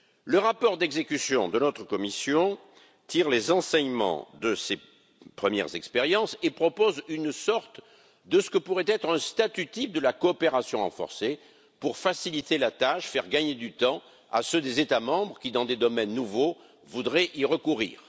Le rapport d'exécution de notre commission tire les enseignements de ces premières expériences et propose une sorte de ce que pourrait être un statut type de la coopération renforcée pour faciliter la tâche et faire gagner du temps aux États membres qui, dans des domaines nouveaux, voudraient y recourir.